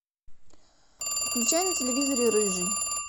включай на телевизоре рыжий